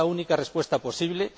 es la única respuesta posible.